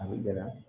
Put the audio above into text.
A bɛ gɛlɛya